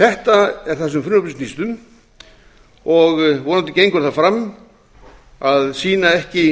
þetta er það sem frumvarpið snýst um vonandi gengur það fram að sýna ekki